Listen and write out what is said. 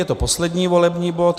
Je to poslední volební bod.